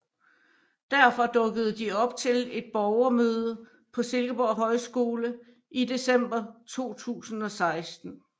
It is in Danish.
Derfor dukkede de op til et borgermøde på Silkeborg Højskole i december 2016